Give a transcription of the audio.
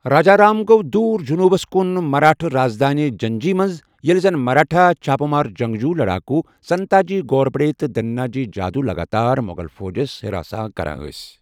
راجا رام گوٚو دور جنوٗبس کُن مرٲٹھہِ رازدانہِ جِنجی منز ، ییلہِ زن مراٹھا چھاپہٕ مار جنگجو لڈاکوٗ سنتا جی گھورپڈے تہٕ دھنا جی جادو لگاتار مُغل فوجس حراساں کران ٲسۍ ۔